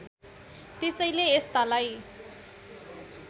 त्यसैले यस्तालाई